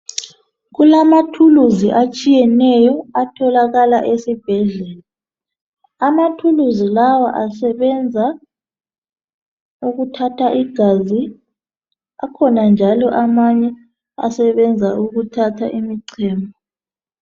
Kulamathulusi atshiyeneyo atholakala esibhedlela. Amathulusi lawa asebenza ukuthatha igazi. Akhona njalo amanye asebenza ukuthatha imichemo.